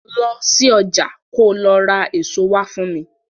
Lọ sí ọjà ko lọ ra èso wá fún mi.